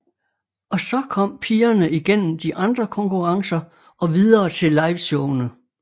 Og så kom pigerne igennem de andre konkurrencer og videre til liveshowene